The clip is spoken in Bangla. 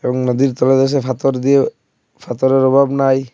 নদীর তলদেশে পাথর দিয়েও পাথরের অভাব নাই।